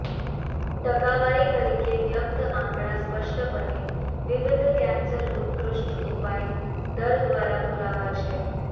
ટકાવારી તરીકે વ્યક્ત આંકડા સ્પષ્ટપણે વિવિધ કેન્સર ઉત્કૃષ્ટ ઉપાય દર દ્વારા પુરાવા છે